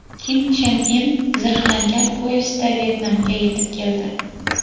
Kim Chen In zirhlangan poyezdda Vyetnamga yetib keldi.